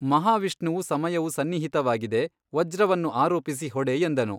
ಮಹಾವಿಷ್ಣುವು ಸಮಯವು ಸನ್ನಿಹಿತವಾಗಿದೆ ವಜ್ರವನ್ನು ಆರೋಪಿಸಿ ಹೊಡೆ ಎಂದನು.